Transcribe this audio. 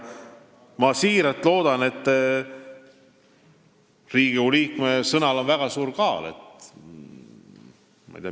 Riigikogu liikme sõnal on väga suur kaal.